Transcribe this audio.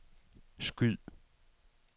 skyd